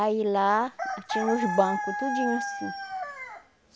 Aí lá tinha os banco, tudinho assim.